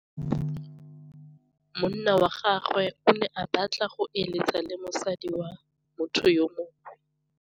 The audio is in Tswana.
Monna wa gagwe o ne a batla go êlêtsa le mosadi wa motho yo mongwe.